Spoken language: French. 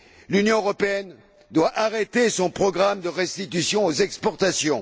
L'Union européenne doit arrêter son programme de restitution aux exportations.